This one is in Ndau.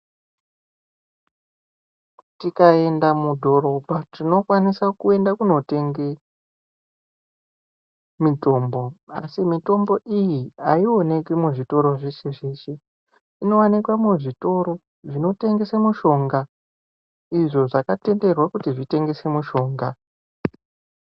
Tikaenda mudhorobha tinokwanisa kuenda kunotenge mitombo asi mitombo iyi aioneki muzvitoro zveshe zveshe, inowanike muzvitoro zvinotengese mushonga izvo zvakatenderwe kuti zvitengese mushonga.